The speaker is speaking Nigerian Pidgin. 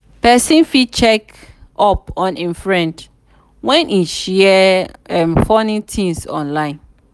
persin fit check up on im friend when e share funny things online